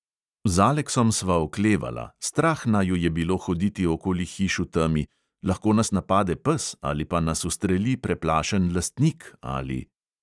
Z aleksom sva oklevala, strah naju je bilo hoditi okoli hiš v temi, lahko nas napade pes ali pa nas ustreli preplašen lastnik ali...